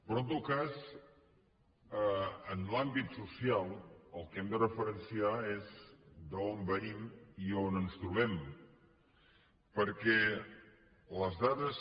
però en tot cas en l’àmbit social el que hem de referenciar és d’on venim i on ens trobem perquè les dades